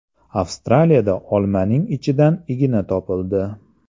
Avstraliyada olmaning ichidan igna topildi.